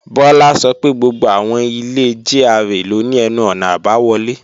Bọ́lá sọ pé gbogbo àwọn ilé GRA ló ní ẹnu-ọ̀nà àbáwọlé